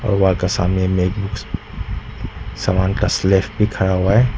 भहुआ के सामने में एक सामान का सलेख लिखा हुआ है।